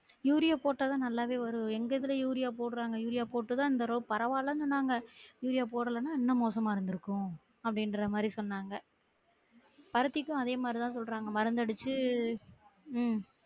urea போட்டா தான் நல்லாவே வரும் எங்க இதுல யூரியா போடுறாங்க யூரியா போட்டுதா இந்த தடவ பரவாலன்னு சொன்னாங்க யூரியா போடலனா இன்னும் மோசமா இருந்துருக்கும் அப்டின்ற மாதிரி சொன்னாங்க பருத்திக்கும் அதே மாதிரி தான் சொல்றாங்க மருந்து அடிச்சு ஹம்